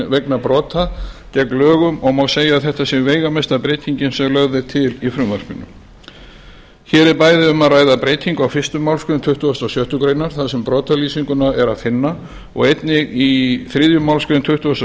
vegna brota gegn lögum og má segja að þetta sé veigamesta breytingin sem lögð er til í frumvarpinu hér er bæði um að ræða breytingu á fyrstu málsgrein tuttugustu og sjöttu grein þar sem brotalýsinguna er að finna og einnig í þriðju málsgrein tuttugustu og